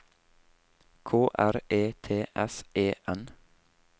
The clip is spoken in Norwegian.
K R E T S E N